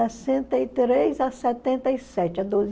Sessenta e três a setenta e sete doze